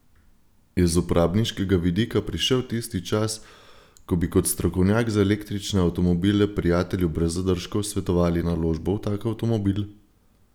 Je z uporabniškega vidika prišel tisti čas, ko bi kot strokovnjak za električne avtomobile prijatelju brez zadržkov svetovali naložbo v tak avtomobil?